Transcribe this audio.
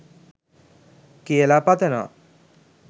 කියලා පතනවා